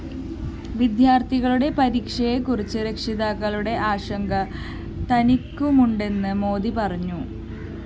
വിദ്യാര്‍ത്ഥികളുടെ പരീക്ഷയെക്കുറിച്ച് രക്ഷിതാക്കള്‍ക്കുള്ള ആശങ്ക തനിക്കുമുണ്ടെന്ന് മോദി പറഞ്ഞു